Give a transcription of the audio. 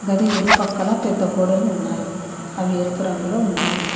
గది ఇరుపక్కల పెద్ద గోడలు ఉన్నాయి అవి ఎరుపు రంగులో ఉన్నాయి.